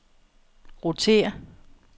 rotér